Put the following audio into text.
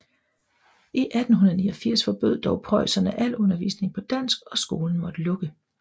I 1889 forbød dog preusserne al undervisning på dansk og skolen måtte lukke